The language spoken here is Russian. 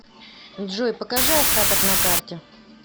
джой покажи остаток на карте